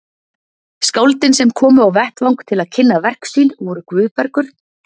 Skáldin sem komu á vettvang til að kynna verk sín voru Guðbergur